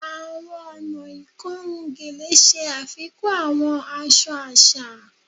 Awọn ọna ikorun Gele ṣe afikun awọn aṣọ aṣa